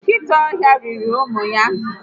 Nkịta ọhịa riri ụmụ ya